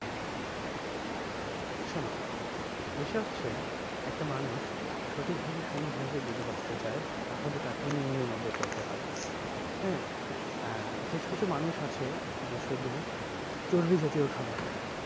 শোনো, বিষয় হচ্ছে একটা মানুষ সঠিক ভাবে সুন্দর ভাবে যদি বাঁচতে চায় তাহলে তাকে নিয়মের মধ্যে চলতে হয় হ্যাঁ? আহ কিছু কিছু মানুষ আছে যে শুধু চর্বি জাতীয় খাবার খায়।